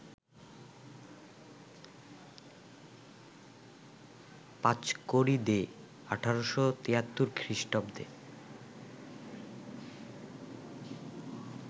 Panchkari De ১৮৭৩ খৃষ্টাব্দে